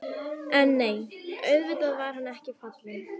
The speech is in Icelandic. En nei, auðvitað var hann ekki fallinn.